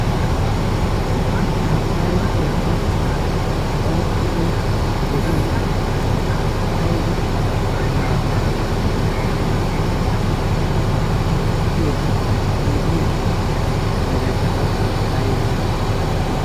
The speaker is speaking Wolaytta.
ha maayo keettan daroppe de7e aiba mera maayo? uttiyo oidiya meraikka qassi aibe?